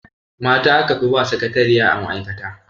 Mata a kafi ba sakatariya a ma'aikata.